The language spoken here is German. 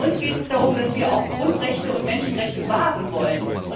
Bei uns geht es darum, dass wir die Grundrechte und die Menschenrechte wahren wollen.